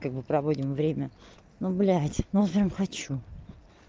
как бы проводим время ну блять ну прямо хочу